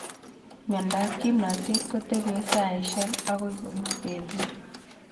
Miondap kimnatet kotepche saishek akoi kopek petut